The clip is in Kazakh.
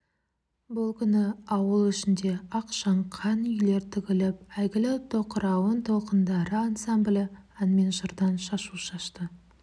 бұл күні ауыл ішіне ақшаңқан үйлер тігіліп әйгілі тоқырауын толқындары ансамблі ән мен жырдан шашу шашты